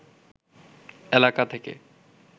এলাকা থেকে